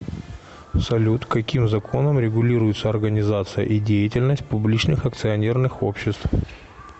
салют каким законом регулируется организация и деятельность публичных акционерных обществ